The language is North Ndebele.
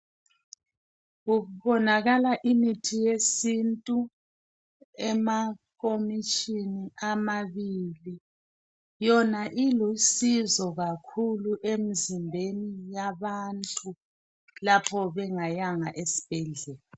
Kubonakala imithi yesintu, emakomitshini amabili. Yona ilusizo kakhulu emzimbeni yabantu lapho bengayanga esibhedlela.